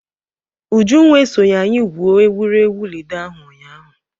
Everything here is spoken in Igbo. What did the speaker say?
Ujunwa esoghi anyị gwuo egwuregwu Lido ahụ ụnyaahụ.